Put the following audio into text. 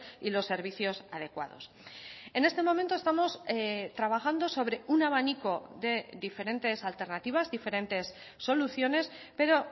y los servicios adecuados en este momento estamos trabajando sobre un abanico de diferentes alternativas diferentes soluciones pero